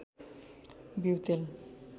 बिऊ तेल